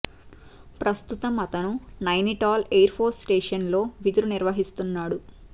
ప్రస్తుతం అతను Nainital air force station లో విధులు నిర్వహిస్తున్నాడు